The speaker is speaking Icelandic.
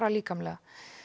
líkamlega